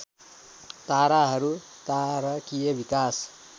ताराहरू तारकीय विकास